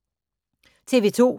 TV 2